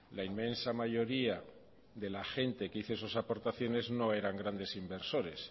la inmensa mayoría de la gente que hizo esas aportaciones no eran grandes inversores